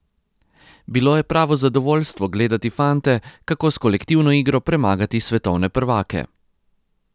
Bilo je pravo zadovoljstvo gledati fante, kako s kolektivno igro premagati svetovne prvake!